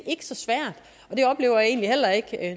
ikke så svært